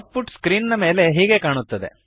out ಪುಟ್ screen ನ ಮೇಲೆ ಹೀಗೆ ಕಾಣುತ್ತದೆ